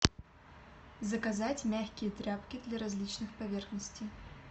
заказать мягкие тряпки для различных поверхностей